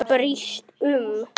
Brýst um.